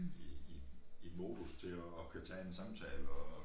I i i modus til at kunne tage en samtale og